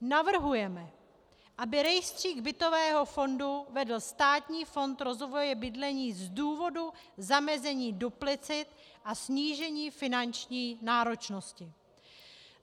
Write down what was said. Navrhujeme, aby rejstřík bytového fondu vedl Státní fond rozvoje bydlení z důvodu zamezení duplicit a snížení finanční náročnosti.